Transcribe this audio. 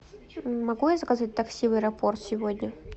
могу я заказать такси в аэропорт сегодня